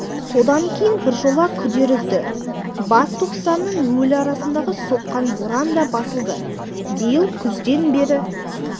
содан кейін біржола күдер үзді бас тоқсаннның өлі арасындағы соққан боран да басылды биыл күзден бері